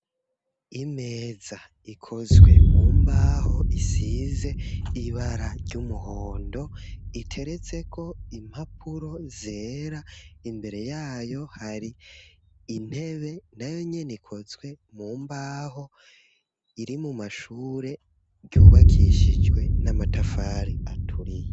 Imeza ikozwe mu mbaho isize ibara ry'umuhondo, iteretseko impapuro zera, imbere yayo hari intebe nayo nyene ikozwe mu mbaho, iri mu mashure ryubakishije n'amatafari aturiye.